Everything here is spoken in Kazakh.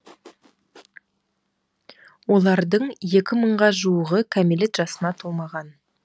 олардың екі мыңға жуығы кәмелет жасына толмаған